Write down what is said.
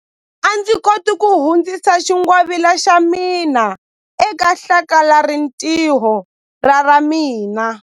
A ndzi koti ku hundzisa xingwavila xa mina eka hlakalarintiho ra ra mina.